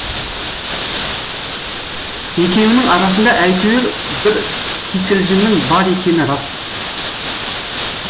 екеуінің арасында әйтеуір бір кикілжіңнің бар екені рас